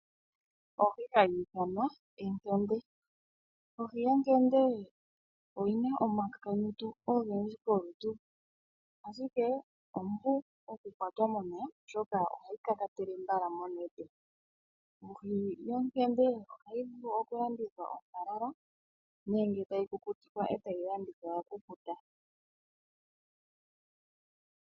Ohi hayi ithanwa enkende, ohi yenkende oyina omakakanyiti ogendji kolutu, ashike ompu oku kwatwa momeya, oshoka ohayi ka ka tele mbala monete. Ohi yenkende ohayi vulu oku landithwa ontalala nenge tayi ku kutikwa etayi landithwa ya kukuta.